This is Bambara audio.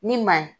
Ni ma